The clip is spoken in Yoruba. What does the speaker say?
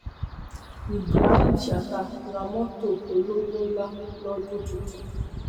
ibrahim chatta ra mọtò olówó ńlá lọdún tuntun